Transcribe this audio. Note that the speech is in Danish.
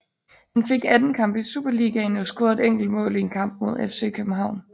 Han fik 18 kampe i Superligaen og scorede et enkelt mål i en kamp mod FC København